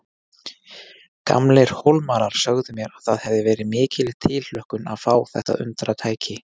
Gamlir Hólmarar sögðu mér að það hefði verið mikil tilhlökkun að fá þetta undratæki.